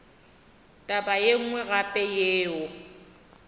taba ye nngwe gape yeo